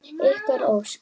Ykkar Ósk.